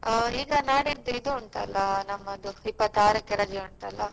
ಆ ಈಗ ನಾಡಿದ್ದು ಇದು ಉಂಟಲ್ಲ ನಮ್ಮದು ಇಪ್ಪತ್ತಾರಕ್ಕೆ ರಜೆ ಉಂಟಲ್ಲ.